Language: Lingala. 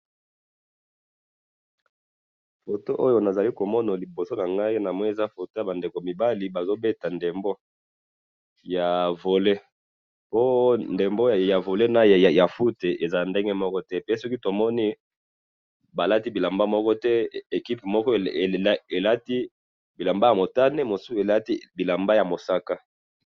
photo oyo nazali komona liboso nangai, namoni eza photo yaba ndeko mibali bazobeta ndembo ya volley, oyo ndembo ya volley naya foot ezalaka ndenge moko te, pe soki tomoni balati bilamba moko te, equipe moko elati bilamba ya motane, mosusu elati bilamba ya mosaka